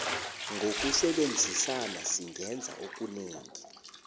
ngokusebenzisana singenza okunengi